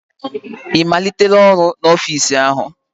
Ị malitela ọrụ n'ofiisi áhụ̀?